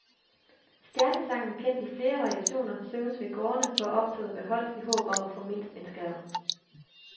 Stjernesangen, kendt i flere variationer, synges ved gårdene, hvor optoget gør holdt, i håb om at få mindst en skærv.